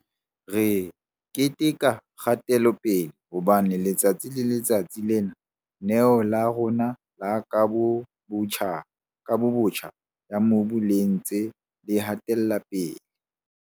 Re keteka kgatelopele, hobane letsatsi le letsatsi Lena-neo la rona la Kabobotjha ya Mobu le ntse le hatela pele.